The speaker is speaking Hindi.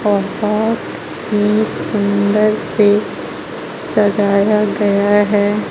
बहोत ही सुंदर से सजाया गया है.